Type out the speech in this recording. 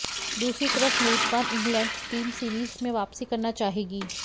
दूसरी तरफ मेजबान इंग्लैंड की टीम सीरीज में वापसी करना चाहेगी